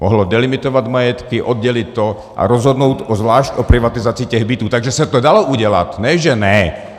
Mohlo delimitovat majetky, oddělit to a rozhodnout zvlášť o privatizaci těch bytů, takže se to dalo udělat, ne že ne.